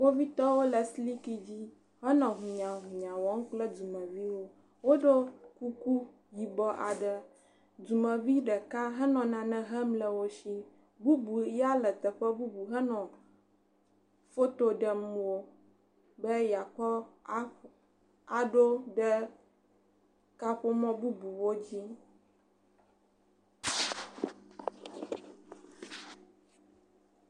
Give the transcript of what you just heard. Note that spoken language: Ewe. Kpovitɔwo le siliki dzi henɔ hunyahunya kple dumeviwo. Woɖo kuku yibɔ aɖe. Dumevi ɖeka henɔ nane hem le wo si, bubu ya teƒe bubu henɔ foto ɖem wo be yeakɔ aɖo ɖe kaƒomɔ bubuwo dzi.